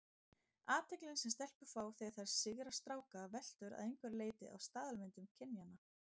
Athyglin sem stelpur fá þegar þær sigra stráka veltur að einhverju leyti á staðalmyndum kynjanna.